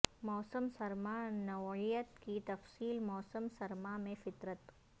موسم سرما نوعیت کی تفصیل موسم سرما میں فطرت